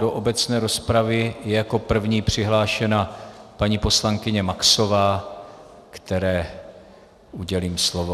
Do obecné rozpravy je jako první přihlášena paní poslankyně Maxová, které udělím slovo.